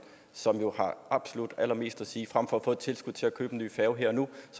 som absolut allermest at sige frem for at få et tilskud til at købe en ny færge her og nu